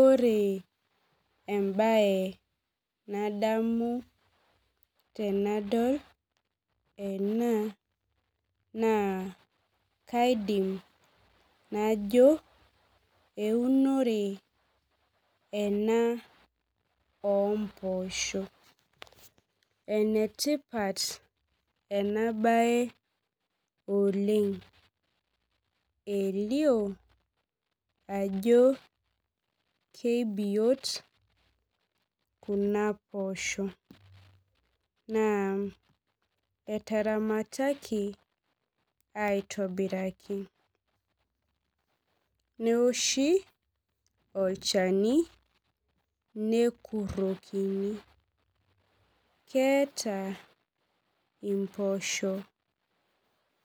Ore embaye nadamu tenadol ena naa kaidim najo eunore ena ompoosho enetipat ena baye oleng elio ajo keibiot kuna poosho naa eteramataki aitobiraki neoshi olchani nekurrokini keeta impoosho